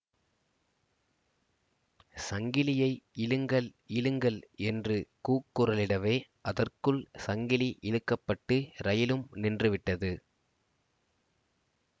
சங்கிலியை இழுங்கள் இழுங்கள் என்று கூக்குரலிடவே அதற்குள் சங்கிலி இழுக்க பட்டு ரயிலும் நின்று விட்டது